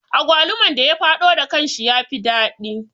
Agwaluman da ya faɗo da kanshi ya fi daɗi